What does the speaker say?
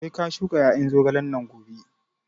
Sai ka shuka ƴaƴan zogalen nan gobe!